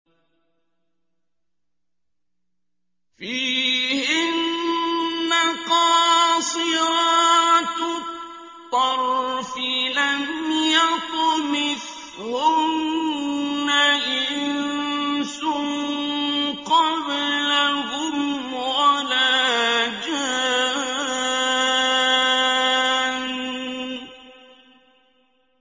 فِيهِنَّ قَاصِرَاتُ الطَّرْفِ لَمْ يَطْمِثْهُنَّ إِنسٌ قَبْلَهُمْ وَلَا جَانٌّ